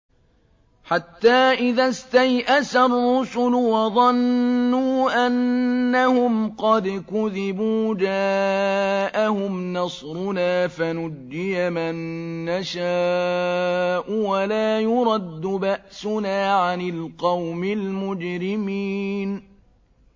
حَتَّىٰ إِذَا اسْتَيْأَسَ الرُّسُلُ وَظَنُّوا أَنَّهُمْ قَدْ كُذِبُوا جَاءَهُمْ نَصْرُنَا فَنُجِّيَ مَن نَّشَاءُ ۖ وَلَا يُرَدُّ بَأْسُنَا عَنِ الْقَوْمِ الْمُجْرِمِينَ